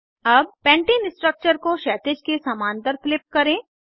अब pattern structure को क्षैतिज के समान्तर फ्लिप करें